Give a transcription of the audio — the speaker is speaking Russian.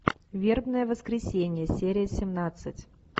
вербное воскресенье серия семнадцать